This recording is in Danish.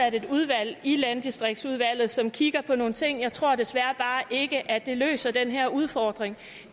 et udvalg i landdistriktsudvalget som kigger på nogle ting jeg tror desværre bare ikke at det løser den her udfordring